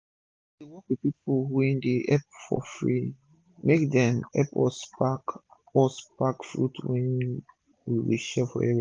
we dey work with pipu wey dey help for free. make dem epp us pack us pack fruit wey we go share for area